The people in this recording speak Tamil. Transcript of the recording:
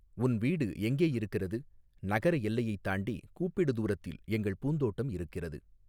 உன் வீடு எங்கே இருக்கிறது நகர எல்லையைத் தாண்டி கூப்பிடு தூரத்தில் எங்கள் பூந்தோட்டம் இருக்கிறது.